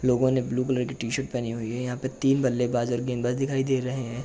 लोगो ने blue colour की T-shirt पहनी हुई है यहाँ पर तीन बल्लेबाज़ और गेंदबाज दिखाई दे रहे है।